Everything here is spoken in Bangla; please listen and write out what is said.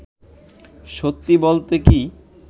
সত্যি বলতে কি